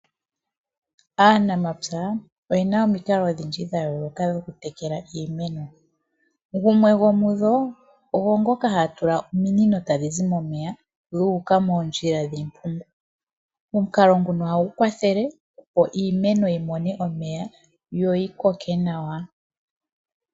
Aanamatsa oyena omikalo odhindji dha yooloka dhokutekela iimeno, gumwe gomudho ogo ngoka haatula ominino tadhizi momeya dhuka moondjila dhiimpungu .Omukalo nguno ohagu kwathele opo iimeno yimone omeya, yoyi koke nawa.